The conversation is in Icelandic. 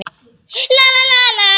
Fegurð hennar er ekki alveg í fókus.